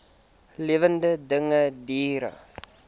lewende dinge diere